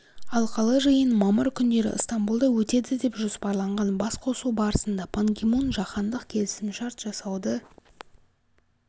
алқалы жиын мамыр күндері ыстамбұлда өтеді деп жоспарланған басқосу барысында пан ги мун жаһандық келісімшарт жасауды